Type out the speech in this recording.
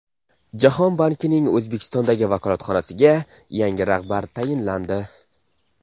Jahon bankining O‘zbekistondagi vakolatxonasiga yangi rahbar tayinlandi.